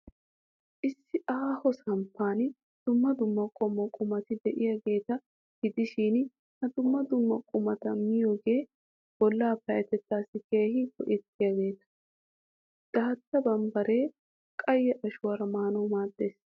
Issi aaho samppan dumma dumma qommo qumati de'iyaageeta gidishin, ha dumma dumma qumata miyoogee bollaa payyateettaassi keehi go'iyaageeta. Daatta bammbbaree, qayye ashuwaaraa maanawu maaddees.